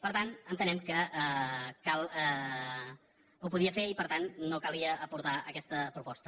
per tant entenem que ho podia fer i per tant no calia aportar aquesta proposta